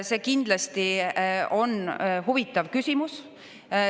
See kindlasti on huvitav küsimus.